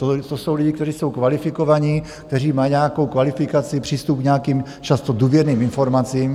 To jsou lidi, kteří jsou kvalifikovaní, kteří mají nějakou kvalifikaci, přístup k nějakým často důvěrným informacím.